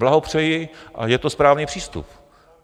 Blahopřeji a je to správný přístup.